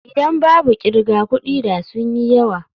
Idan babu kirga kudi da sun yi yawa.